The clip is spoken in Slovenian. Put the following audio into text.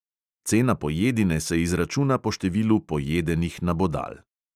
Cena pojedine se izračuna po številu pojedenih nabodal.